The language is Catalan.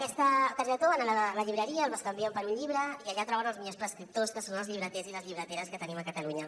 aquesta targeta a la llibreria la bescanvien per un llibre i allà troben els millors prescriptors que són els llibreters i llibreteres que tenim a catalunya